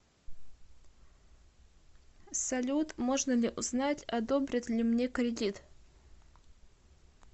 салют можно ли узнать одобрят ли мне кредит